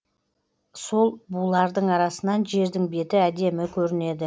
сол булардың арасынан жердің беті әдемі көрінеді